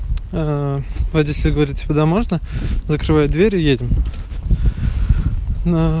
ээ водитель говорит типа да можно закрывай дверь и едем на